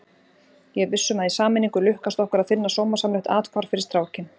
Ég er viss um að í sameiningu lukkast okkur að finna sómasamlegt athvarf fyrir strákinn.